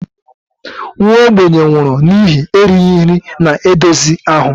Nwa ogbenye nwụrụ n'ihi erighị ihe na-edozi ahụ